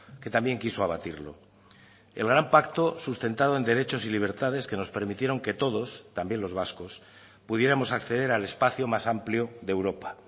que también quiso abatirlo el gran pacto sustentado en derechos y libertades que nos permitieron que todos también los vascos pudiéramos acceder al espacio más amplio de europa